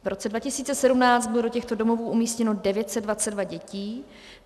V roce 2017 bylo do těchto domovů umístěno 922 dětí.